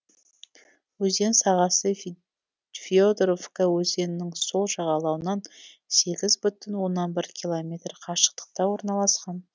өзен сағасы федоровка өзенінің сол жағалауынан сегіз бүтін оннан бір километр қашықтықта орналасқан